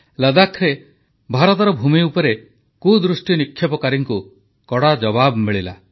ଲଦ୍ଦାଖରେ ଭାରତର ଭୂମି ଉପରେ କୁଦୃଷ୍ଟି ନିକ୍ଷେପକାରୀଙ୍କୁ କଡ଼ା ଜବାବ ମିଳିଲା